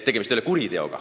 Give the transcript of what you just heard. Tegemist ei ole kuriteoga.